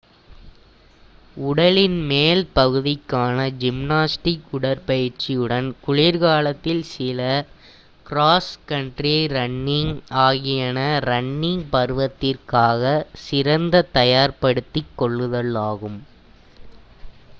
உடலின் மேல் பகுதிக்கான ஜிம்னாஸ்டிக் உடற்பயிற்சியுடன் குளிர்காலத்தில் சில க்ராஸ் கன்ட்ரி ரன்னிங் ஆகியன ரன்னிங் பருவத்திற்காக சிறந்த தயார்படுத்திக்கொள்ளுதல் ஆகும்